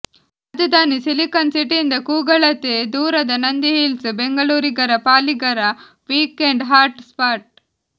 ರಾಜಧಾನಿ ಸಿಲಿಕಾನ್ ಸಿಟಿಯಿಂದ ಕೂಗಳತೆ ದೂರದ ನಂದಿ ಹಿಲ್ಸ್ ಬೆಂಗಳೂರಿಗರ ಪಾಲಿಗರ ವಿಕೇಂಡ್ ಹಾಟ್ ಸ್ಪಾಟ್